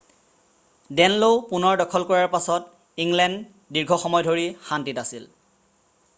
ডে'নলও পুনৰ দখল কৰাৰ পাছত ইংলেণ্ড দীৰ্ঘ সময় ধৰি শান্তিত আছিল